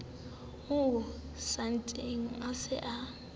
mo sentseng o se o